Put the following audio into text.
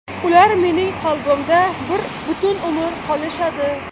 Ular mening qalbimda butun umr qolishadi.